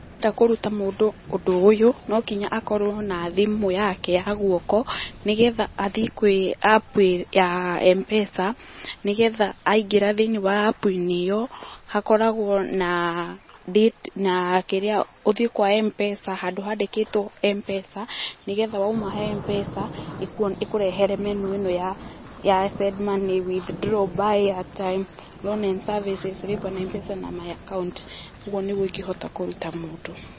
Ta kũruta mũndũ ũndũ ũyũ, no nginya akorũo na thimũ yake ya guoko, nĩ getha athiĩ kwĩ app ya M-Pesa, nĩ getha aingĩra thĩinĩ wa app-inĩ ĩo, hakoragũo na date ,na kĩrĩa, ũthiĩ kwa M-Pesa, handũ handĩkĩtwo M-Pesa, nĩ getha wauma he M-Pesa, ĩkũrehere menu ĩno ya send money, withdraw ,buy airtime, loan and services, lipa na M-Pesa na my account. Ũguo nĩguo ingĩhota kũruta mũndũ.